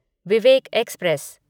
Vivek express